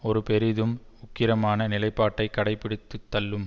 ஒரு பெரிதும் உக்கிரமான நிலைப்பாட்டை கடைப்பிடித்துத் தள்ளும்